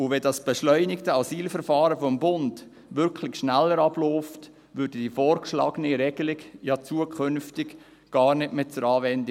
Und wenn das beschleunigte Asylverfahren des Bundes wirklich schneller abläuft, käme die vorgeschlagene Regelung ja zukünftig gar nicht mehr zur Anwendung.